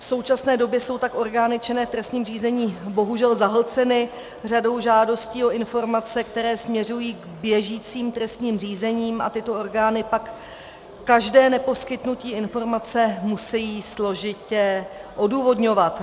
V současné době jsou tak orgány činné v trestním řízení bohužel zahlceny řadou žádostí o informace, které směřují k běžícím trestním řízením, a tyto orgány pak každé neposkytnutí informace musejí složitě odůvodňovat.